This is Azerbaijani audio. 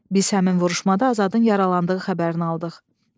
Biz həmin vuruşmada Azadın yaralandığı xəbərini aldıq.